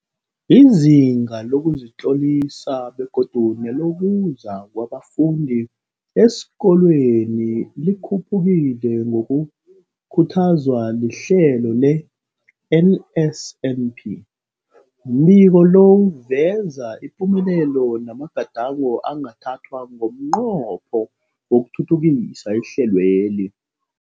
Izinga lokuzitlolisa begodu nelokuza kwabafundi esikolweni likhuphukile ngokukhuthazwa lihlelo le-NSNP. Umbiko lo uveza ipumelelo namagadango angathathwa ngomnqopho wokuthuthukisa ihlelweli.